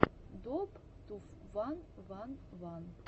доуп ту ван ван ван